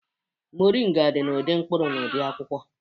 Moringa dị n'ụdị mkpụrụ na ụdị akwụkwọ